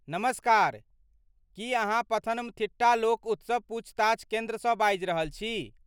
नमस्कार, की अहाँ पथनमथिट्टा लोक उत्सव पूछताछ केन्द्रसँ बाजि रहल छी?